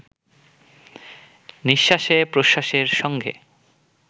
নিঃশ্বাসে-প্রশ্বাসের সঙ্গে